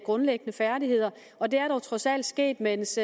grundlæggende færdigheder og det er trods alt sket mens